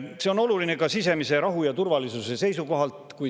See on oluline ka sisemise rahu ja turvalisuse seisukohalt.